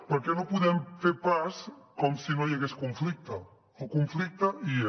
perquè no podem fer pas com si no hi hagués conflicte el conflicte hi és